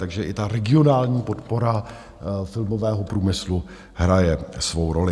Takže i ta regionální podpora filmového průmyslu hraje svou roli.